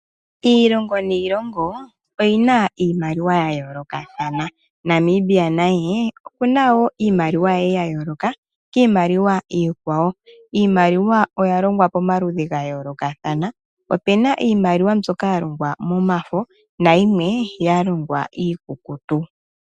Iilongo niilongo oyina iimaliwa yayoolokathana Namibia naye okuna iimaliwa yaye yayooloka kiimaliwa iikwawo. Iimaliwa oya longwa pamaludhi gayoolokathana opena iimaliwa ndyoka yalongwa momafo nayimwe yalongwa iikukutu.